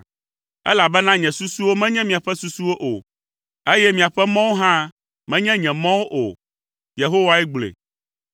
“Elabena nye susuwo menye miaƒe susuwo o eye miaƒe mɔwo hã menye nye mɔwo o,” Yehowae gblɔe.